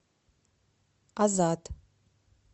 азат